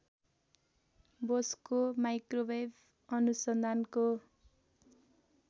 बोसको माइक्रोवेभ अनुसन्धानको